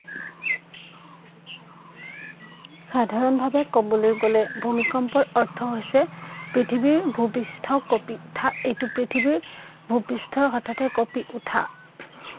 সাধাৰণ ভাৱে কবলৈ গলে ভূমিকম্পৰ অৰ্থ হৈছে পৃথিৱীৰ ভূ-পৃষ্ঠ কঁপি উঠা এইটো পৃথিৱীৰ ভূ-পৃষ্ঠ হঠাতে কঁপি উঠা।